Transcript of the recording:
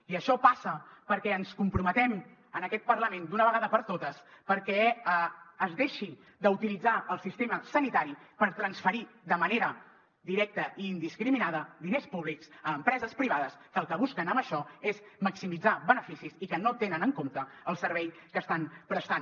i això passa perquè ens comprometem en aquest parlament d’una vegada per totes perquè es deixi d’utilitzar el sistema sanitari per transferir de manera directa i indiscriminada diners públics a empreses privades que el que busquen amb això és maximitzar beneficis i que no tenen en compte el servei que estan prestant